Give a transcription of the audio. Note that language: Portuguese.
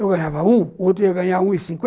Eu ganhava um, o outro ia ganhar um e cinquenta.